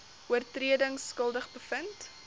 oortredings skuldig bevind